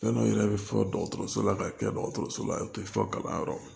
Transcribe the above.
Fɛn dɔ yɛrɛ bɛ fɔ dɔgɔtɔrɔso la ka kɛ dɔgɔtɔrɔso la u tɛ fɔ kalanyɔrɔ